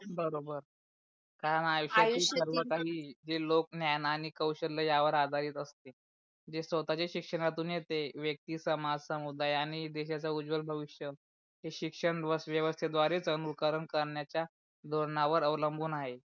जे लोक ज्ञान आणि कौशल्य या वर आधारित असते जे स्वताच्या शिक्षणातून येते व्यक्ति समाज समुद्या आणि देशाचा उजवल भविष्य हे शिक्षण व्यवस्थेद्वारे अनूकरण करण्याच्या धोरण वर अवलंबून आहे.